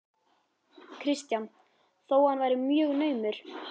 Kristján: Þó hann verið mjög naumur?